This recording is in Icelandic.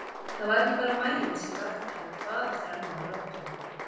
Það var ekki bara maginn sem vakti hann hvað eftir annað með látum.